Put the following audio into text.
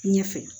Ɲɛfɛ